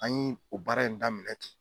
An y'i o baara in daminɛ ten